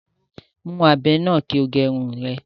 Mú ábẹ́ náà kí o gẹ Irun rẹ